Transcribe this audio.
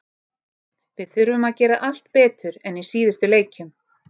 Við þurfum að gera allt betur en í síðustu leikjum.